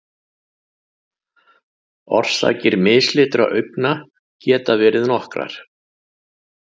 Orsakir mislitra augna geta verið nokkrar.